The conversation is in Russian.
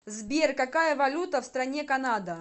сбер какая валюта в стране канада